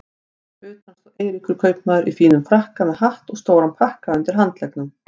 Fyrir utan stóð Eiríkur kaupmaður í fínum frakka með hatt og stóran pakka undir handleggnum.